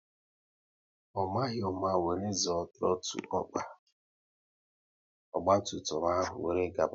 Ọ maghị ụma wéré zoọ trotul ọkpa, ogba tum tum ahụ wéré gaba